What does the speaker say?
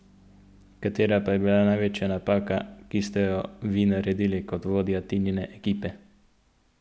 Katera pa je bila največja napaka, ki ste jo vi naredili kot vodja Tinine ekipe?